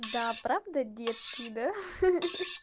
да правда детские да ха-ха